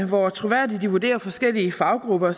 hvor troværdige de vurderer forskellige faggrupper